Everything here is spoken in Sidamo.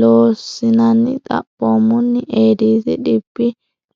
Loossinanni Xaphoomunni Eedisi dhibbi